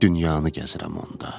Dünyanı gəzirəm onda.